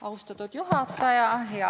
Austatud juhataja!